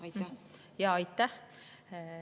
Aitäh!